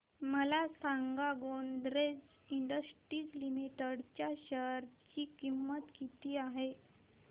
मला सांगा Godrej industries limited च्या शेअर ची किंमत किती आहे